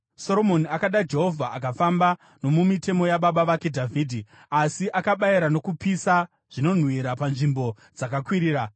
Soromoni akada Jehovha akafamba nomumitemo yababa vake Dhavhidhi, asi akabayira nokupisa zvinonhuhwira panzvimbo dzakakwirira.